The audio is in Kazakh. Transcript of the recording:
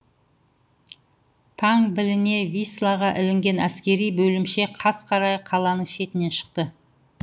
таң біліне вислаға ілінген әскери бөлімше қас қарая қаланың шетінен шықты